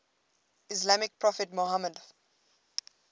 islamic prophet muhammad